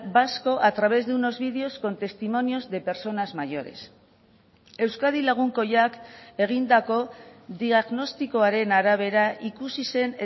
vasco a través de unos vídeos con testimonios de personas mayores euskadi lagunkoiak egindako diagnostikoaren arabera ikusi zen